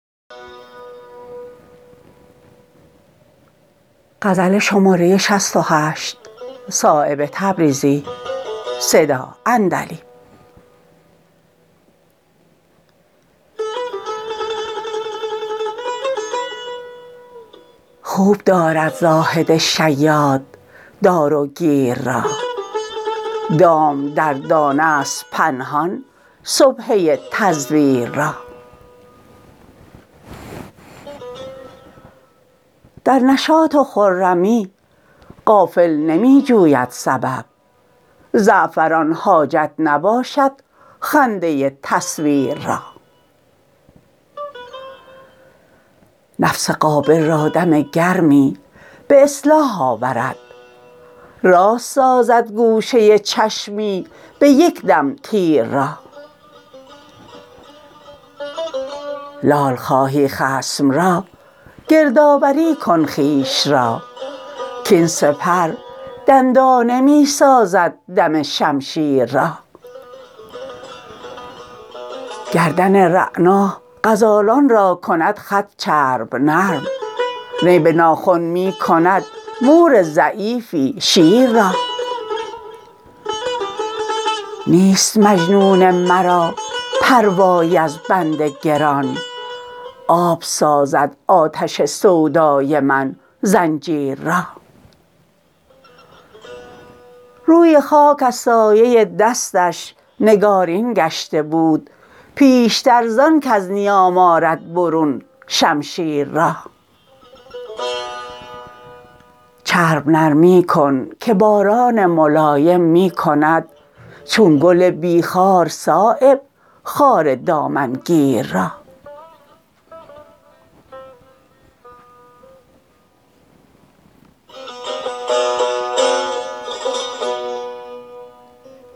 خوب دارد زاهد شیاد داروگیر را دام دردانه است پنهان سبحه تزویر را در نشاط و خرمی غافل نمی جوید سبب زعفران حاجت نباشد خنده تصویر را نفس قابل را دم گرمی به اصلاح آورد راست سازد گوشه چشمی به یکدم تیر را لال خواهی خصم را گردآوری کن خویش را کاین سپر دندانه می سازد دم شمشیر را گردن رعنا غزالان را کند خط چرب نرم نی به ناخن می کند مور ضعیفی شیر را نیست مجنون مرا پروایی از بند گران آب سازد آتش سودای من زنجیر را روی خاک از سایه دستش نگارین گشته بود پیشتر زان کز نیام آرد برون شمشیر را چرب نرمی کن که باران ملایم می کند چون گل بی خار صایب خار دامنگیر را